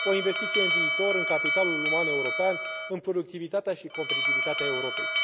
o investiție în viitor, în capitalul uman european, în productivitatea și competitivitatea Europei.